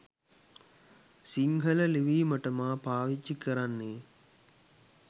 සිංහල ලිවීමට මා පාවිච්චි කරන්නේ